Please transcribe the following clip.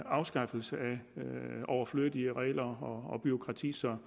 afskaffelse af overflødige regler og bureaukrati så